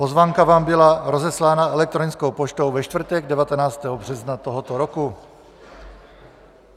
Pozvánka vám byla rozeslána elektronickou poštou ve čtvrtek 19. března tohoto roku.